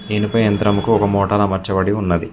ఇనుప యంత్రం కు ఒక మోటర్ అమర్చబడి ఉన్నది.